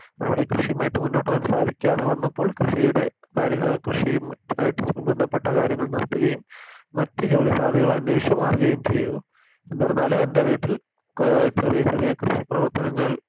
അവിടെ കൃഷിയുമായി മുന്നോട്ട് പോകാൻ സാധിക്കാതെ വന്നപ്പോൾമ കൃഷിയുടെ കാര്യാ കൃഷിയു മായിട്ട് ബന്ധപ്പെട്ട കാര്യങ്ങൾ നിർത്തുകയും മറ്റ് ജോലി സാധ്യതകൾ അന്വേഷിച്ച് മാറുകയും ചെയ്തു എന്നിരുന്നാലും എൻറെ വീട്ടിൽ കോ ചെറിയ ചെറിയ കൃഷി പ്രവർത്തനങ്ങൾ